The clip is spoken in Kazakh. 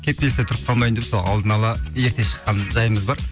кептелісте тұрып қалмайын деп сол алдын ала ерте шыққан жайымыз бар